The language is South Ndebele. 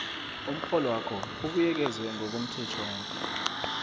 umrholwakho ubuyekezwe ngokomthetjhwana